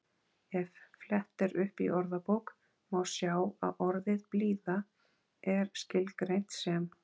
Ef flett er upp í orðabók má sjá að orðið blíða er skilgreint sem